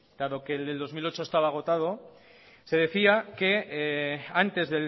dado que el de dos mil ocho estaba agotado se decía que antes